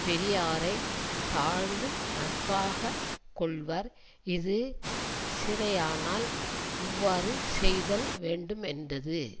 பெரியாரை தாழ்ந்து நட்பாக கொள்வர் இது சிறையானால் இவ்வாறு செய்தல் வேண்டுமென்றது